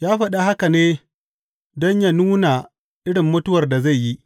Ya faɗa haka ne don yă nuna irin mutuwar da zai yi.